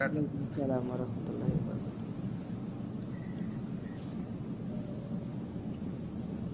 ওয়ালাইকুম আসসালাম ওয়ারাহমাতুল্লাহি ওয়াবারাকাতুহ